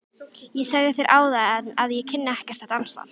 Ég sagði þér áðan að ég kynni ekkert að dansa.